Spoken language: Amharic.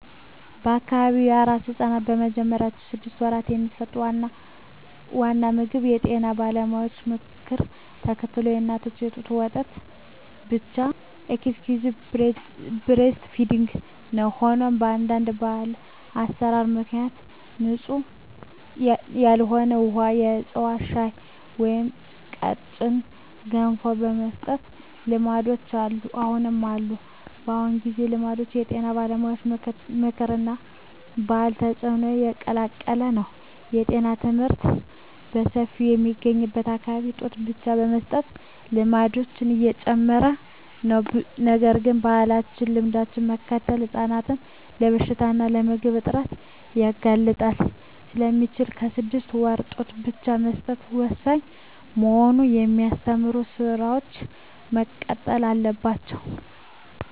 በአካባቢው ለአራስ ሕፃናት በመጀመሪያዎቹ ስድስት ወራት የሚሰጠው ዋና ምግብ የጤና ባለሙያዎችን ምክር ተከትሎ የእናት ጡት ወተት ብቻ (Exclusive Breastfeeding) ነው። ሆኖም፣ በአንዳንድ ባህላዊ አሠራሮች ምክንያት ንጹሕ ያልሆነ ውሃ፣ የዕፅዋት ሻይ ወይም ቀጭን ገንፎ የመስጠት ልማዶች አሁንም አሉ። በአሁኑ ጊዜ፣ ልማዱ የጤና ባለሙያዎች ምክር እና የባህል ተጽዕኖ የተቀላቀለ ነው። የጤና ትምህርት በሰፊው በሚገኝበት አካባቢ ጡት ብቻ የመስጠት ልማድ እየጨመረ ነው። ነገር ግን፣ ባህላዊ ልማዶችን መከተል ሕፃናትን ለበሽታ እና ለምግብ እጥረት ሊያጋልጥ ስለሚችል፣ በስድስት ወራት ጡት ብቻ መስጠት ወሳኝ መሆኑን የሚያስተምሩ ሥራዎች መቀጠል አለባቸው።